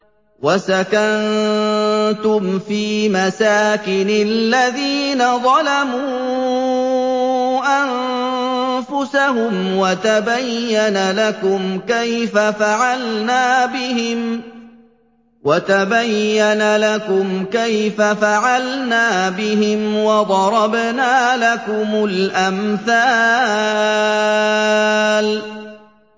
وَسَكَنتُمْ فِي مَسَاكِنِ الَّذِينَ ظَلَمُوا أَنفُسَهُمْ وَتَبَيَّنَ لَكُمْ كَيْفَ فَعَلْنَا بِهِمْ وَضَرَبْنَا لَكُمُ الْأَمْثَالَ